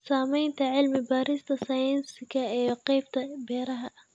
Saamaynta cilmi-baarista sayniska ee qaybta beeraha.